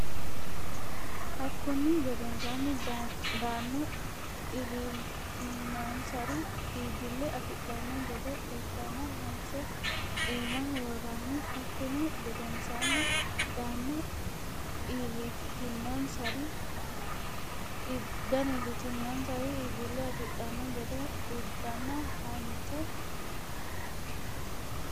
Hakkunni gedensaanni dano iillitinonsari iibbille afidhanno gede uddanna hanse iimaho worranni Hakkunni gedensaanni dano iillitinonsari iibbille afidhanno gede uddanna hanse.